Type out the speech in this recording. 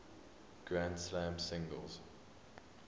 grand slam singles